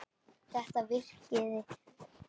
Þetta virkaði og við lifðum.